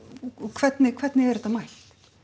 hvernig hvernig er þetta mælt